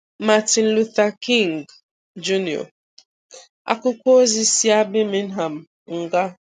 Martin Luther King Jr., Àkwụ́kwọ̀ Òzi si a Birmingham nga